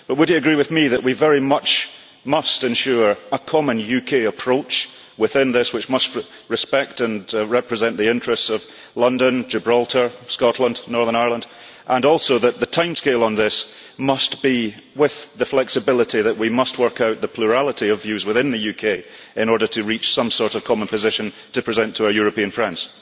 But would he agree with me that we really must ensure a common UK approach within this, which must respect and represent the interests of London, Gibraltar, Scotland and Northern Ireland, and also that the timescale on this must give us the flexibility to work out the plurality of views within the UK in order to reach some sort of common position to present to our European friends?